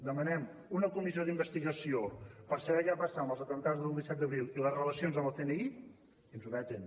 demanem una comissió d’investigació per saber què va passar amb els atemptats del disset d’abril i les relacions amb el cni i ens ho veten